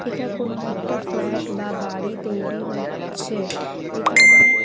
এটা কোনও একটা ফ্ল্যাট বা বাড়ি তৈরি হচ্ছে এখানে--